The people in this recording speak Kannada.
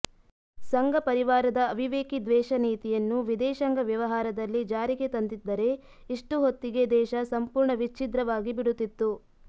ಸಂಘಪರಿವಾರದ ಅವಿವೇಕಿ ದ್ವೇಷ ನೀತಿಯನ್ನು ವಿದೇಶಾಂಗ ವ್ಯವಹಾರದಲ್ಲಿ ಜಾರಿಗೆ ತಂದಿದ್ದರೆ ಇಷ್ಟು ಹೊತ್ತಿಗೆ ದೇಶ ಸಂಪೂರ್ಣ ವಿಚ್ಛಿದ್ರವಾಗಿ ಬಿಡುತ್ತಿತ್ತು